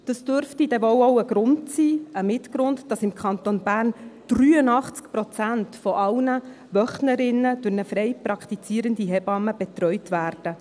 Das dürfte denn wohl auch mit ein Grund sein, dass im Kanton Bern 83 Prozent aller Wöchnerinnen durch eine frei praktizierende Hebamme betreut werden.